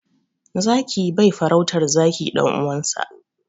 Zaki bai farautar zaki ɗan uwansa.